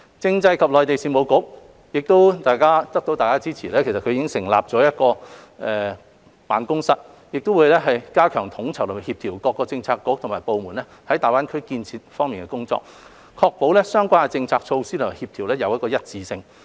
政制及內地事務局在獲得大家的支持下，已成立大灣區辦公室，加強統籌和協調各政策局和部門在大灣區建設方面的工作，確保相關政策措施的協調性和一致性。